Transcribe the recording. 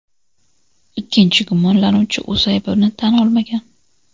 Ikkinchi gumonlanuvchi o‘z aybini tan olmagan.